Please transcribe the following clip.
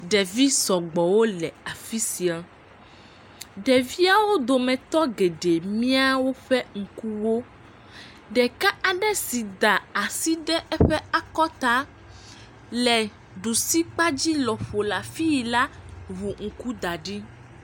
Ɖevi sɔgbɔ wole afi sia. Ɖeviawo dometɔ geɖe mia woƒe ŋkuwo. Ɖeka aɖe si da asi ɖe eƒe akɔta le ɖusikpadzi lɔƒo le afi yi la ŋu ŋku da ɖi.